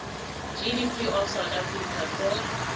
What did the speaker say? gdp of south africa for